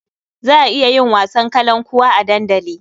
Za a iya yin wasan kalankuwa a dandali.